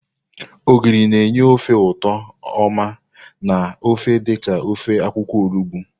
Ogiri na-enye ofe ụtọ oma na ofe dị ka ofe akwukwo olugbo.